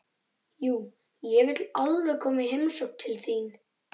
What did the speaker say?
Jú, ég vil alveg koma í heimsókn til þín.